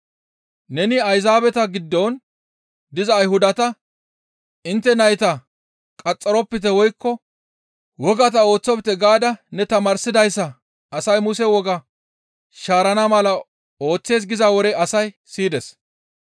Neni Ayzaabeta giddon diza Ayhudata, ‹Intte nayta qaxxaropite woykko wogata ooththofte› gaada ne tamaarsida asay Muse wogaa shaarana mala ooththees giza wore asay siyides.